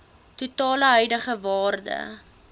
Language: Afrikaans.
totale huidige waarde